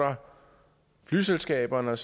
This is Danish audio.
flyselskaberne